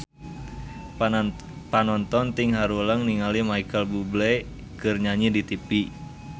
Panonton ting haruleng ningali Micheal Bubble keur nyanyi di tipi